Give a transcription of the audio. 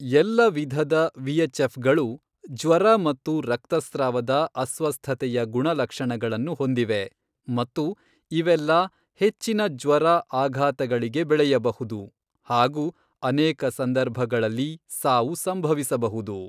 ಎಲ್ಲ ವಿಧದ ವಿಎಚ್ಎಫ್ಗಳು ಜ್ವರ ಮತ್ತು ರಕ್ತಸ್ರಾವದ ಅಸ್ವಸ್ಥತೆಯ ಗುಣಲಕ್ಷಣಗಳನ್ನು ಹೊಂದಿವೆ ಮತ್ತು ಇವೆಲ್ಲ ಹೆಚ್ಚಿನ ಜ್ವರ, ಆಘಾತಗಳಿಗೆ ಬೆಳೆಯಬಹುದು ಹಾಗೂ ಅನೇಕ ಸಂದರ್ಭಗಳಲ್ಲಿ ಸಾವು ಸಂಭವಿಸಬಹುದು.